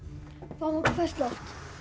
fáum okkur ferskt loft